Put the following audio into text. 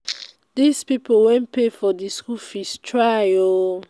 those people wey pay for the school fees try oo oo